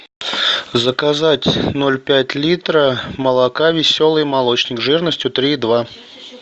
заказать ноль пять литра молока веселый молочник жирностью три и два